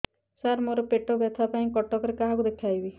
ସାର ମୋ ର ପେଟ ବ୍ୟଥା ପାଇଁ କଟକରେ କାହାକୁ ଦେଖେଇବି